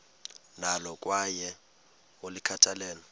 nalo kwaye ulikhathalele